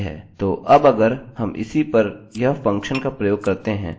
तो अब अगर हम इसी पर यह फंक्शन का प्रयोग करते हैं और फिर एको करते हैं